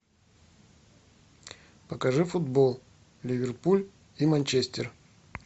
покажи футбол ливерпуль и манчестер